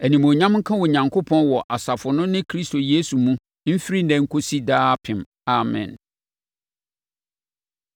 Animuonyam nka Onyankopɔn wɔ asafo no ne Kristo Yesu mu mfiri ɛnnɛ nkɔsi daapem. Amen.